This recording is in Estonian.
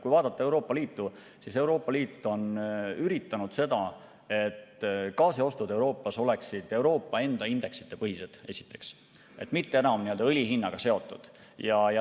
Kui vaadata Euroopa Liitu, siis Euroopa Liit on üritanud seda, et gaasiostud Euroopas oleksid Euroopa enda indeksite põhised, esiteks, mitte enam õli hinnaga seotud.